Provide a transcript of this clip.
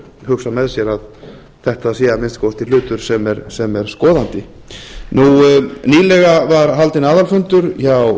hugsa með sér að þetta sé að minnsta kosti hlutur sem er skoðandi nýlega var haldinn aðalfundur hjá